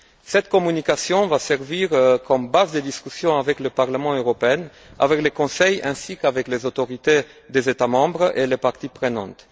Cette communication va servir de base de discussion avec le Parlement européen, avec le Conseil ainsi qu'avec les autorités des États membres et les parties prenantes.